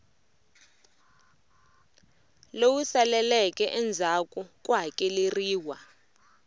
lowu saleleke endzhaku ku hakeleriwa